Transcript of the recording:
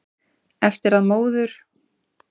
Eftir að móður